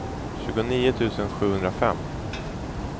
tjugonio tusen sjuhundrafem